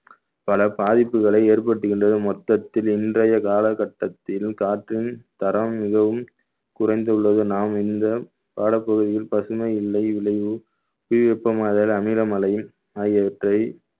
பல பாதிப்புகளை ஏற்படுத்துகின்றது மொத்தத்தில் இன்றைய காலகட்டத்தில் காற்றின் தரம் மிகவும் குறைந்துள்ளது நாம் இந்த பாடப் பகுதியில் பசுமை இல்லை விளைவு புவி வெப்பமாதல் அமிலமலை ஆகியவற்றை